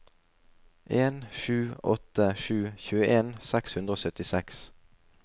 en sju åtte sju tjueen seks hundre og syttiseks